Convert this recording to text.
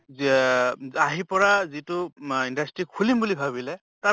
য্য়া উ আহি পৰা যিটো মা industry খুলিম বুলি ভাবিলে